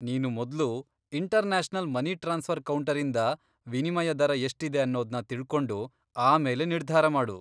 ನೀನು ಮೊದ್ಲು international money transfer ಕೌಂಟರಿಂದ ವಿನಿಮಯ ದರ ಎಷ್ಟಿದೆ ಅನ್ನೋದ್ನ ತಿಳ್ಕೊಂಡು ಆಮೇಲೆ ನಿರ್ಧಾರ ಮಾಡು.